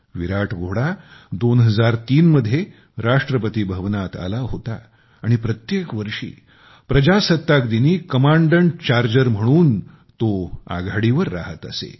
विराट घोडा 2003 मध्ये राष्ट्रपती भवनात आला होता आणि प्रत्येक वर्षी गणतंत्र दिवसात कमांडंट चार्जर म्हणून आघाडीवर राहत असे